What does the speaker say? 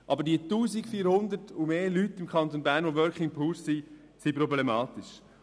Aber, dass es 1400 und mehr Working Poor im Kanton Bern gibt, ist problematisch.